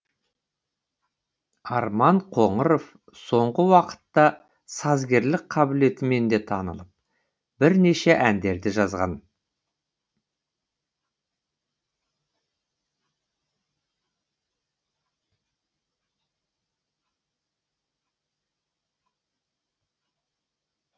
арман қоңыров соңғы уақытта сазгерлік қабілетімен де танылып бірнеше әндерді жазған